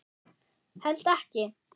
Held ekki.